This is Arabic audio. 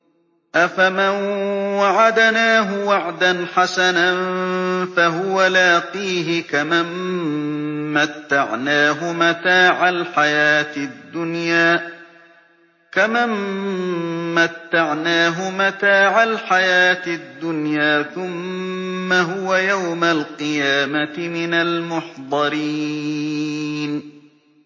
أَفَمَن وَعَدْنَاهُ وَعْدًا حَسَنًا فَهُوَ لَاقِيهِ كَمَن مَّتَّعْنَاهُ مَتَاعَ الْحَيَاةِ الدُّنْيَا ثُمَّ هُوَ يَوْمَ الْقِيَامَةِ مِنَ الْمُحْضَرِينَ